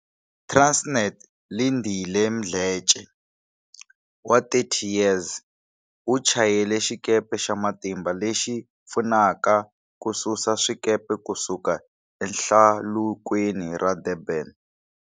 Transnet Lindile Mdletshe, 30, u chayela xikepe xa matimba lexi pfunaka kususa swikepe ku suka eHlalukweni ra Durban.